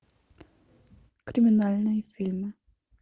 криминальные фильмы